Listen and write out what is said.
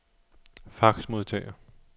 faxmodtager